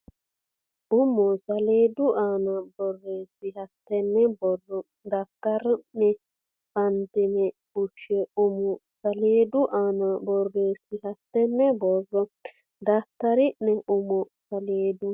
umo saleedu aana borreessi hattenne borro daftara ne fantine fushshe umo saleedu aana borreessi hattenne borro daftara ne umo saleedu.